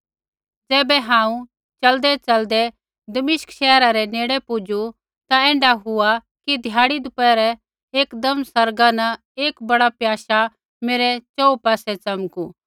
ज़ैबै हांऊँ च़लदैच़लदै दमिश्कै शैहरा रै नेड़ पुजू ता ऐण्ढा हुआ कि ध्याड़ी दपौहरै एकदम आसमाना न एक बड़ा प्याशा मेरै च़ोहू पासै च़मकू